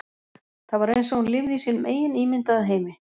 Það var eins og hún lifði í sínum eigin ímyndaða heimi.